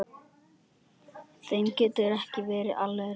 Þeim getur ekki verið alvara.